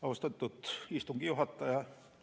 Austatud istungi juhataja!